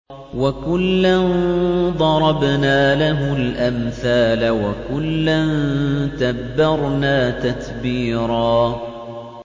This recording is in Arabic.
وَكُلًّا ضَرَبْنَا لَهُ الْأَمْثَالَ ۖ وَكُلًّا تَبَّرْنَا تَتْبِيرًا